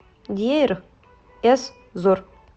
дейр эз зор